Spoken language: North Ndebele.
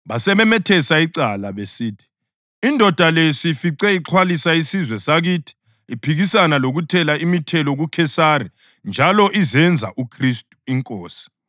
Basebemethesa icala besithi, “Indoda le siyifice ixhwalisa isizwe sakithi. Iphikisana lokuthela imithelo kuKhesari njalo izenza uKhristu, inkosi.”